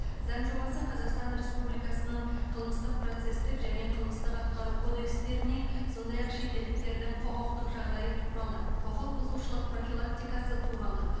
заң жобасы қазақстан республикасының қылмыстық процестік және қылмыстық атқару кодекстеріне сондай ақ шетелдіктердің құқықтық жағдайы туралы құқық бұзушылық профилактикасы туралы